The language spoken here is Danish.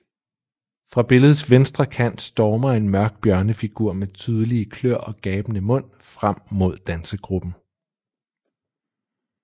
Fra billedets venstre kant stormer en mørk bjørnefigur med tydelige kløer og gabende mund frem mod dansegruppen